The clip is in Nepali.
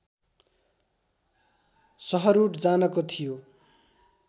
सहरूट जानको थियो